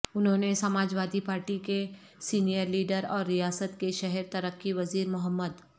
انہوں نے Samajwadi party کے سینئر لیڈر اور ریاست کے شہر ترقی وزیر محمد